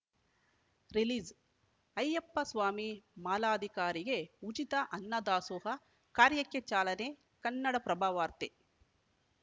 release Ayyappaswamy ಮಾಲಾಧಿಕಾರಿಗೆ ಉಚಿತ ಅನ್ನದಾಸೋಹ ಕಾರ್ಯಕ್ಕೆ ಚಾಲನೆ ಕನ್ನಡಪ್ರಭವಾರ್ತೆ